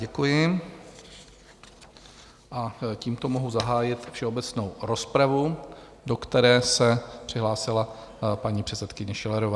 Děkuji a tímto mohu zahájit všeobecnou rozpravu, do které se přihlásila paní předsedkyně Schillerová.